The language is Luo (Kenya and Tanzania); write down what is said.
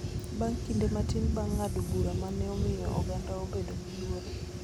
bang� kinde matin bang� ng�ado bura ma ne omiyo oganda obedo gi luoro.